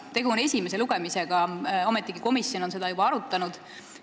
Tegu on esimese lugemisega, ometigi komisjon on seda juba arutanud.